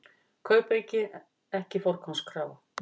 Kaupauki ekki forgangskrafa